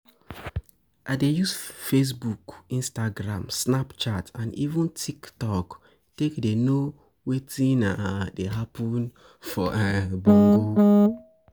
I dey use Facebook, Instagram, snapchat and even Tiktok take dey know wetin dey happen for Bongo.